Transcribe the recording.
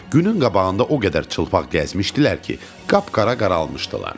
Günün qabağında o qədər çılpaq gəzmişdilər ki, qapqara qaralmışdılar.